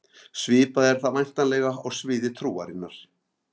Svipað er það væntanlega á sviði trúarinnar.